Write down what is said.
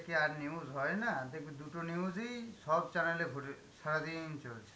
আর news হয় না? দেখবি দুটো news ই সব channel এ ঘোরে~ সারাদিন চলছে.